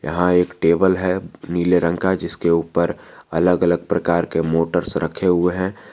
यहां एक टेबल है नीले रंग का जिसके ऊपर अलग अलग प्रकार के मोटर्स रखे हुए है।